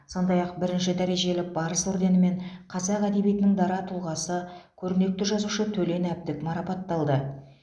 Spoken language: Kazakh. сондай ақ бірінші дәрежелі барыс орденімен қазақ әдебиетінің дара тұлғасы көрнекті жазушы төлен әбдік марапатталды